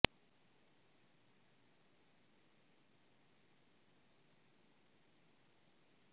ਇਸੇ ਘਟਨਾ ਸੰਸਾਰ ਭਰ ਵਿੱਚ ਇਸ ਦਿਨ ਵਿਚ ਜਗ੍ਹਾ ਲੈ